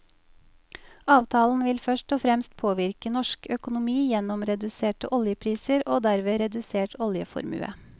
Avtalen vil først og fremst påvirke norsk økonomi gjennom reduserte oljepriser og derved redusert oljeformue.